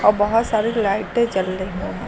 और बहोत सारे लाइटें जल रही है।